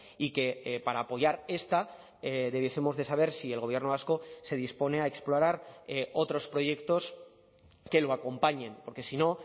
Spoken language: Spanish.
y que para apoyar esta debiesemos de saber si el gobierno vasco se dispone a explorar otros proyectos que lo acompañen porque si no